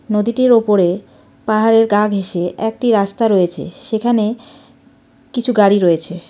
নদীটির ওপরে পাহাড়ের গা ঘেসে একটি রাস্তা রয়েছে সেখানে কিছু গাড়ি রয়েছে.